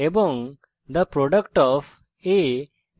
এবং the product of a b and c is zero